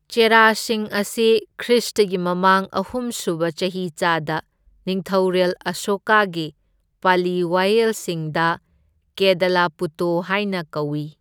ꯆꯦꯔꯥꯁꯤꯡ ꯑꯁꯤ ꯈ꯭ꯔꯤꯁꯇꯒꯤ ꯃꯃꯥꯡ ꯑꯍꯨꯝꯁꯨꯕ ꯆꯍꯤꯆꯥꯗ ꯅꯤꯡꯊꯧꯔꯦꯜ ꯑꯁꯣꯀꯥꯒꯤ ꯄꯂꯤ ꯋꯥꯌꯦꯜꯁꯤꯡꯗ ꯀꯦꯗꯂꯄꯨꯇꯣ ꯍꯥꯏꯅ ꯀꯧꯏ꯫